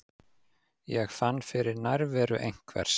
Ég fann fyrir nærveru einhvers.